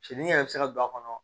Cel yɛrɛ bɛ se ka don a kɔnɔ